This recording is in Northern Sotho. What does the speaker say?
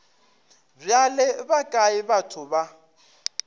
bjale ba kae batho ba